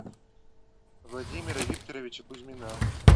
владимира викторовича кузьмина